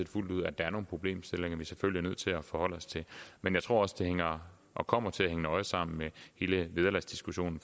fuldt ud at der er nogle problemstillinger vi selvfølgelig er nødt til at forholde os til men jeg tror også det hænger og kommer til at hænge nøje sammen med hele vederlagsdiskussionen